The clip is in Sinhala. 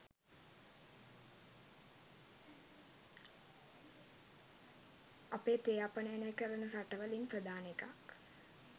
අපේ තේ අපනයන කරන රට වලින් ප්‍රධාන එකක්.